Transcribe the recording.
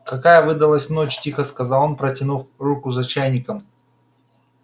какая выдалась ночь тихо сказал он протянув руку за чайником